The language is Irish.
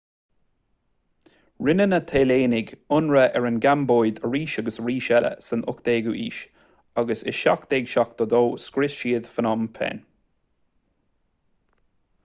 rinne na téalannaigh ionradh ar an gcambóid arís agus arís eile san 18ú haois agus i 1772 scrios siad phnom phen